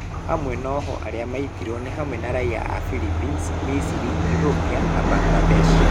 Amwe a ohwo arĩa maitirũo nĩ hamwe na raiya a Philippines, Egypt, Ethiopia na Bangladesh.